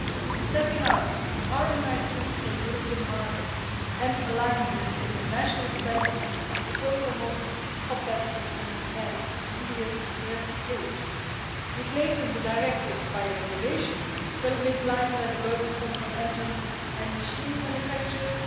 In setting out harmonised rules for the European markets and aligning with international standards, it will promote competitiveness and clear red tape. Replacing the directive by a regulation will make life less burdensome for engine and machine manufacturers.